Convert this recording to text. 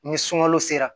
Ni sunkalo sera